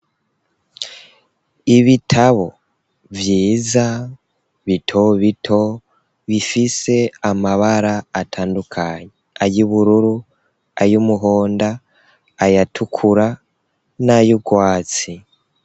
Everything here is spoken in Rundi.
Ibitabo vyiza bito bito bifise amabara atandukanye ayubururu ayumuhonda ayatukura n'ayurwatsi.